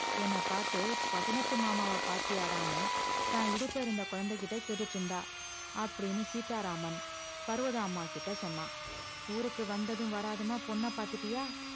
என்ன பார்த்து பட்டணத்து மாமாவ பார்த்தியாடான்னு தான் இடுப்பு இருந்த குழந்தைகிட்ட கேட்டுட்டு இருந்தா அப்படின்னு சீதாராமன் பர்வதாம்மாகிட்ட சொன்னான் ஊருக்கு வந்ததும் வராததுமா பொண்ண பார்த்துட்டியா